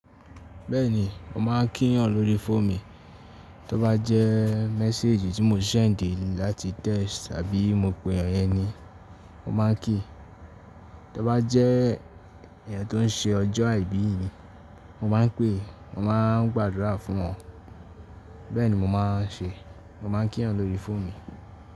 Bẹ́ẹ̀ni, mo máa ń kíyàn lórí fóò'mi Tó bá jẹ́ mẹ́sẹ́èjì tí mo ṣẹ̀ ń dè láti text abi mo pè eyan ye ni, mo máa ń kí i. Tó bá jẹ́ èèyàn tó ń ṣe ọjọ́ àìbí mi, mo máa ń pè, mo máa ń gbàdúrà fún wọ́n. Bẹ́ẹ̀ni mo máa ń ṣe, mo máa ń kíyàn lórí fóòmi.